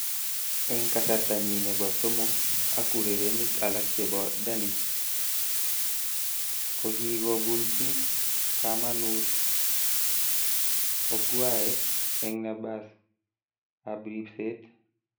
Eng kasarta nyi nebo somok ak urerenik alak chebo Danish, kokikobunchi kamanut Ongwae eng nabas ab ribset.